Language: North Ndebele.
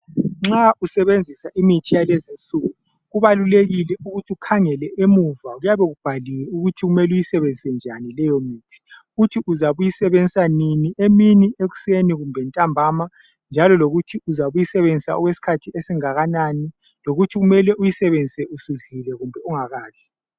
Nxa usebenzisa imithi yalezinsuku kubalulekile ukuthi ukhangele emuva, kuyabe kubhaliwe ukuthi kumele uyisebenzise njani leyomithi futhi uzabe uyisebenzisa nini, emini, ekuseni kumbe ntambama njalo lokuthi uzabe uyisebenzisa okwesikhathi esingakanani. Lokuthi kumele uyisebenzise usudlile kumbe ungakadli.